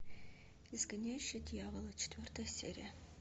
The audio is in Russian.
изгоняющий дьявола четвертая серия